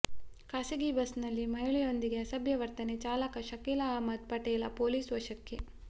ಖಾಸಗಿ ಬಸ್ನಲ್ಲಿ ಮಹಿಳೆಯೊಂದಿಗೆ ಅಸಭ್ಯ ವರ್ತನೆ ಚಾಲಕ ಶಕೀಲ ಅಹಮ್ಮದ ಪಟೇಲ ಪೊಲೀಸ್ ವಶಕ್ಕೆ